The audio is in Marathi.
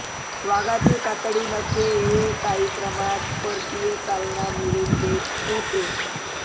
वाघाची कातडी नखे हे काही प्रमाणात परकीय चलन मिळवून देत होते